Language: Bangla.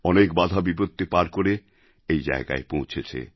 অনেক বাধাবিপত্তি পার করে এই জায়গায় পৌঁছেছে